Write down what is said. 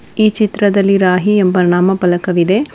ಈ ಚಿತ್ರದಲ್ಲಿ ರಾಹಿ ಎಂಬ ನಾಮಪಲಕವಿದೆ.